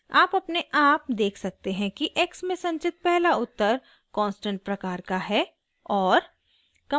आप अपने आप देख सकते हैं कि x में संचित पहला उत्तर कांस्टेंट प्रकार का है और